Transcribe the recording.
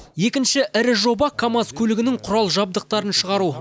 екінші ірі жоба камаз көлігінің құрал жабдықтарын шығару